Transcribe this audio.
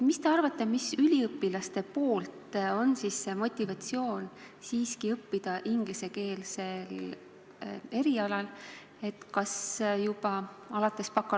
Mis te arvate, miks on üliõpilastel motivatsioon õppida siiski ingliskeelsel erialal, nii et teised, eestikeelsed õppekavad tühjemaks jäävad?